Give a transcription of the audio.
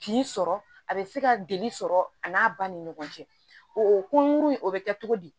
Kin sɔrɔ a bɛ se ka dili sɔrɔ a n'a ba ni ɲɔgɔn cɛ o kunkurunin o bɛ kɛ cogo di